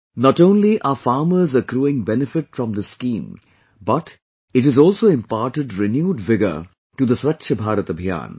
Not only farmers are accruing benefit from this scheme but it has also imparted renewed vigour to the Swachh Bharat Abhiyan